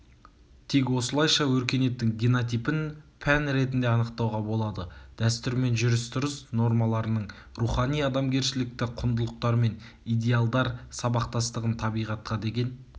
тек осылайша өркениеттің генотипін пән ретінде анықтауға болады дәстүр мен жүріс-тұрыс нормаларының рухани-адамгершілікті құндылықтар мен идеалдар сабақтастығын табиғатқа деген